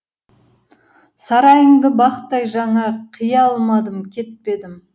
сарайыңды бақтай жаңа қия алмадым кетпедім